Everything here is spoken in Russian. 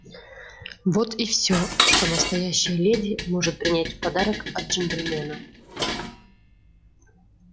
вот и всё что настоящая леди может принять в подарок от джентльмена